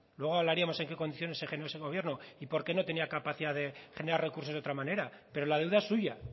luego hablaríamos en qué condiciones se generó ese gobierno y por qué no tenía capacidad de generar recursos de otra manera pero la deuda es suya